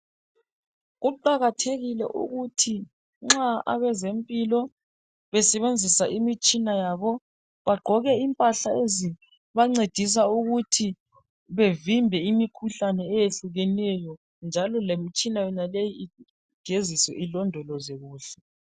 Kuqakathekile ukuthi nxa abezempilo besebenzisa imitshina yabo bagqoke impahla ezibancedisa ukuthi bevimbe imikhuhlane eyehlukeneyo njalo lemtshina yonaleyi igeziswe ilondolozwe kuhle.